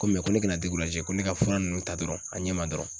Ko ko ne kana ko ne ka fura ninnu ta dɔrɔn a ɲɛ ma dɔrɔn